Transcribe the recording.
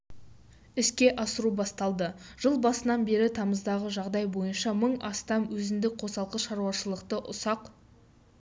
іске асыру басталды жыл басынан бері тамыздағы жағдай бойынша мың астам өзіндік қосалқы шаруашылықты ұсақ